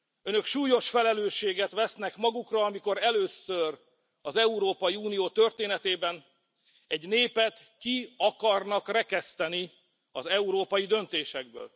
Önök súlyos felelősséget vesznek magukra, amikor először az Európai Unió történetében egy népet ki akarnak rekeszteni az európai döntésekből.